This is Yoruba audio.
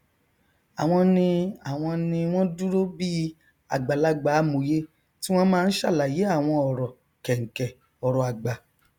àwọn ni àwọn ni wọn dúró bí i àgbàlagbà amòye tí wọn máa n sàlàyé àwọn ọrọ kẹnkẹ ọrọ àgbà